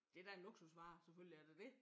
Det da en luksusvare selvfølgelig er det dét